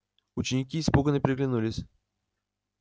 ученики испуганно переглянулись